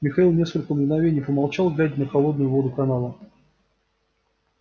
михаил несколько мгновений помолчал глядя на холодную воду канала